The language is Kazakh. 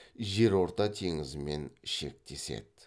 жерорта теңізімен шектеседі